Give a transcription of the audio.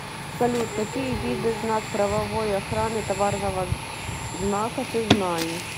салют какие виды знак правовой охраны товарного знака ты знаешь